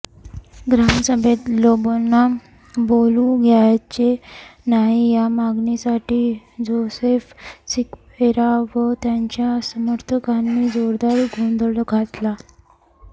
ग्रामसभेत लोबोंना बोलू द्यायचे नाही या मागणीसाठी जोसेफ सिक्वेरा व त्यांच्या समर्थकांनी जोरदार गोंधळ घातला